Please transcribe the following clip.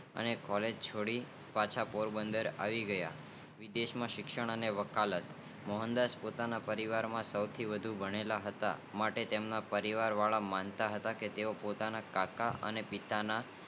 અઠારશોસત્તાણુંમાં રામદાસ ગાંધી ઓગણસો માં દેવદાસ ગાંધી નો જન્મ થાય મહાત્મા ગાંધી નું પ્રાથમિક શિક્ષણ પોરબંદન માં થાઉં હતું અને હાઈસ્કુલ નો અભ્યાસ અમદાવાદ થી પાસ કરી જે બાદ મોહનદાસ ભાવનગર માં શ્યામ ડાંસર્સ કૉલેજ માં એડમિશન લીધું પરંતુ ખરાબ સ્વાર્થ અને ગૃહિયોગ ને કારણે અપ્રસનીય રહિયા